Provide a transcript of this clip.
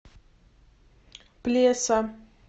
плеса